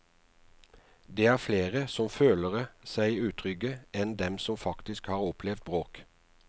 Det er flere som følere seg utrygge enn dem som faktisk har opplevd bråk.